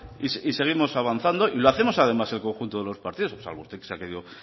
y seguimos avanzando y lo hacemos además el conjunto de los partidos salvo usted que se ha querido